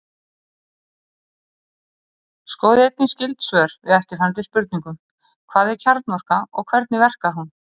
Skoðið einnig skyld svör við eftirfarandi spurningum: Hvað er kjarnorka og hvernig verkar hún?